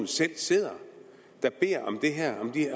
selv sidder der beder